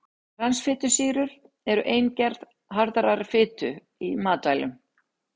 Transfitusýrur eru ein gerð harðrar fitu í matvælum.